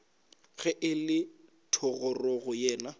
ge e le thogorogo yena